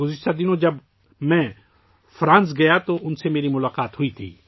گذشتہ دنوں ، جب میں فرانس گیا تھا تو ان سے میری ملاقات ہوئی تھی